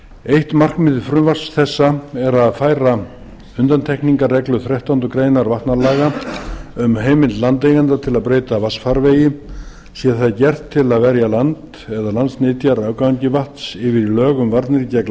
eitt markmið frumvarps þessa er að færa undantekningarreglu þrettándu greinar vatnalaga um heimild landeigenda til að breyta vatnsfarvegi sé það gert til að verja land eða landsnytja afgangi vatns yfir í lög um